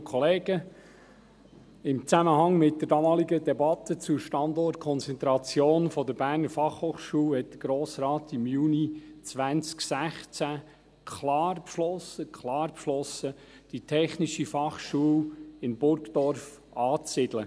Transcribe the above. Im Zusammenhang mit der damaligen Debatte zur Standortkonzentration der BFH hat der Grosse Rat im Juni 2016 klar beschlossen, die TF Bern in Burgdorf anzusiedeln.